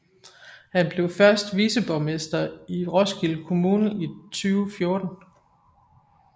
Han blev første viceborgmester i Roskilde Kommune i 2014